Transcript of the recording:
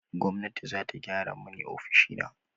Gwamnati za ta gyara mani ofishina.